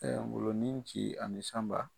Ɛɛ Ngolo ni Nci ani Sanba.